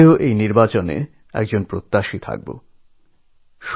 আমি নিজে এই নির্বাচনে একজন প্রার্থী হিসেবে দাঁড়াব